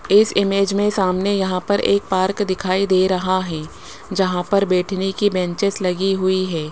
इस इमेज में सामने यहां पर एक पार्क दिखाई दे रहा है जहां पर बैठने की बेंचेज लगी हुई है।